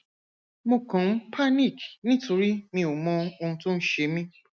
mo kàn ń panic nítorí mi ò mọ ohun tó ń ṣe mí